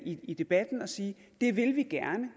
i debatten at sige at det vil vi gerne